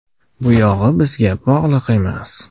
Bu yog‘i bizga bog‘liq emas.